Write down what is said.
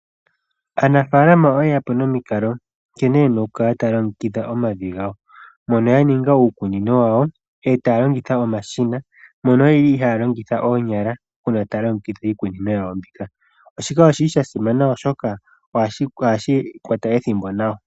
Aanafalama oye ya po nomikalo nkene taya kala taya longekidha omavi gawo. Mono ya ninga uukunino wayo eta longitha omashina mono ye li haya longitha oonyala uuna taya longekidha iikunino yawo mbika. Shika oshi li sha simana oshoka ohashi kwata ethimbo nawa.